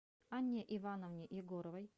анне ивановне егоровой